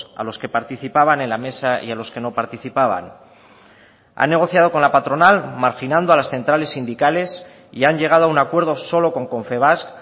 a los que participaban en la mesa y a los que no participaban han negociado con la patronal marginando a las centrales sindicales y han llegado a un acuerdo solo con confebask